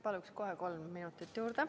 Palun kohe kolm minutit juurde.